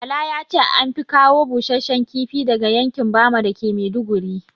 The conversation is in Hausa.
Bala yace anfi kawo busashshen kifi daga yankin bama dake maiduguri